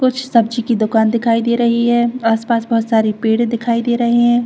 कुछ सब्जी की दुकान की दिखाई दे रही है आस-पास में पेड़ दिखाई दे रहे है।